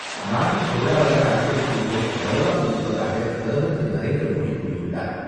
நாட்டின் பொருளதார அடிப்படைக் கூறுகள் வலுவாக இருப்பதாக பிரதமர் திரு.நரேந்திரமோடி கூறியுள்ளார்.